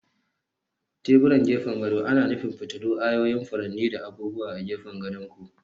Teburan gefen gado ana nufin fitilu, ayoyin furanni, da abubuwa a gefen gadon ku.